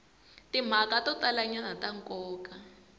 timhaka to talanyana ta nkoka